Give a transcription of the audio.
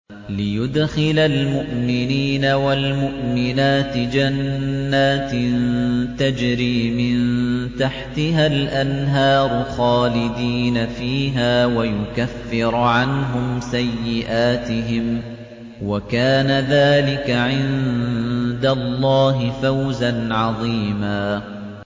لِّيُدْخِلَ الْمُؤْمِنِينَ وَالْمُؤْمِنَاتِ جَنَّاتٍ تَجْرِي مِن تَحْتِهَا الْأَنْهَارُ خَالِدِينَ فِيهَا وَيُكَفِّرَ عَنْهُمْ سَيِّئَاتِهِمْ ۚ وَكَانَ ذَٰلِكَ عِندَ اللَّهِ فَوْزًا عَظِيمًا